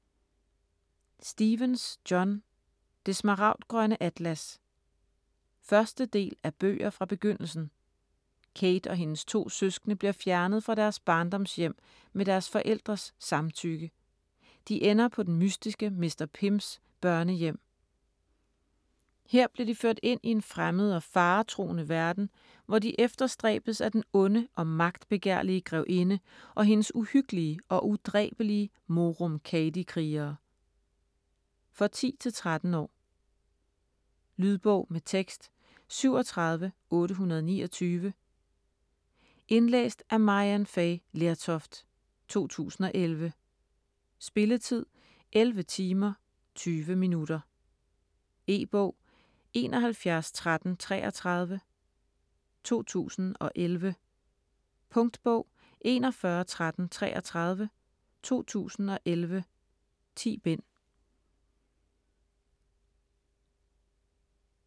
Stephens, John: Det smaragdgrønne atlas 1. del af Bøger fra Begyndelsen. Kate og hendes to søskende bliver fjernet fra deres barndomshjem med deres forældres samtykke. De ender på den mystiske Mr. Pyms børnehjem. Her bliver de ført ind i en fremmed og faretruende verden, hvor de efterstræbes af den onde og magtbegærlige grevinde og hendes uhyggelige og udræbelige morum cadi-krigere. For 10-13 år. Lydbog med tekst 37829 Indlæst af Maryann Fay Lertoft, 2011. Spilletid: 11 timer, 20 minutter. E-bog 711333 2011. Punktbog 411333 2011. 10 bind.